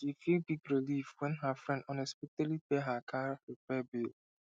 she feel big relief when her friend unexpectedly pay her car repair bill